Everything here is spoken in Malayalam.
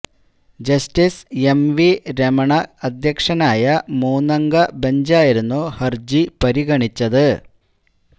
ജസ്റ്റിസ് എം വി രമണ അധ്യക്ഷനായ മൂന്നംഗ ബെഞ്ചായിരുന്നു ഹര്ജി പരിഗണിച്ചത്